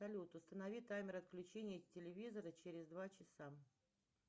салют установи таймер отключения телевизора через два часа